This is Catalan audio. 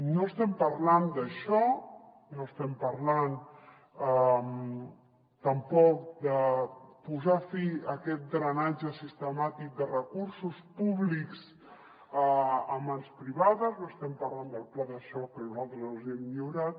no estem parlant d’això no estem parlant tampoc de posar fi a aquest drenatge sistemàtic de recursos públics a mans privades no estem parlant del pla de xoc que nosaltres els hem lliurat